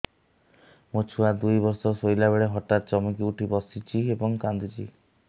ମୋ ଛୁଆ ଦୁଇ ବର୍ଷର ଶୋଇଲା ବେଳେ ହଠାତ୍ ଚମକି ଉଠି ବସୁଛି ଏବଂ କାଂଦୁଛି